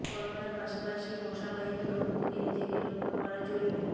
করোনার পাশাপাশি মশাবাহিত রোগ থেকে নিজেকে রক্ষা করা জরুরী